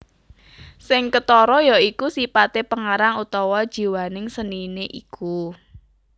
Sing ketara ya iku sipate pengarang utawa jiwaning senine iku